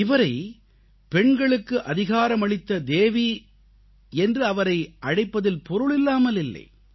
இவரை பெண்களுக்கு அதிகாரமளித்த தேவி என்று அவரை அழைப்பதில் பொருளில்லாமல் இல்லை